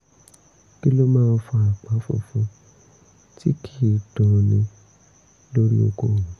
kí ló máa ń fa àpá funfun tí kì í dunni lórí okó mi?